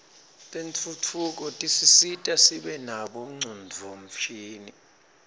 tentfutfuko tisisita sibe nabo ngcondvomshini